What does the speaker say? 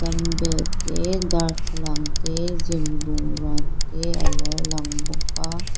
bell te darthlalang te gym bungruate alo lang bawk a.